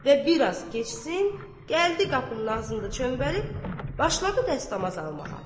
Və bir az keçsin, gəldi qapının ağzında çöməlib, başladı dəstəmaz almağa.